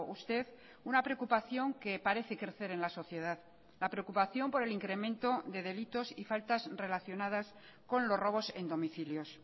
usted una preocupación que parece crecer en la sociedad la preocupación por el incremento de delitos y faltas relacionadas con los robos en domicilios